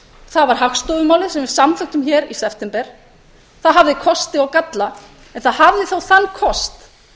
það var hagstofumálið sem við samþykktum hér í september það hafði kosti og galla en það hafði þó þann kost